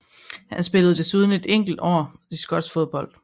Han spillede desuden et enkelt år i skotsk fodbold